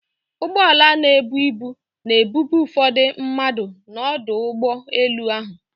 Ụgbọala na-ebu ibu na-ebube ụfọdụ mmadụ n'ọdụ ụgbọ elu ahụ.